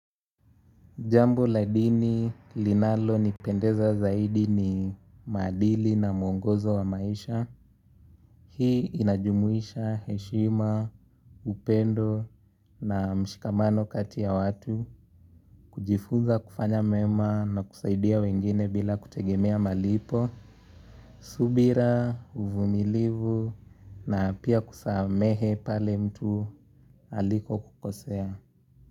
Jambo la dini linalonipendeza zaidi ni maadili na mwongozo wa maisha. Hii inajumuisha heshima, upendo na mshikamano kati ya watu. Kujifuza kufanya mema na kusaidia wengine bila kutegemea malipo, subira, uvumilivu na pia kusamehe pale mtu alikokukosea.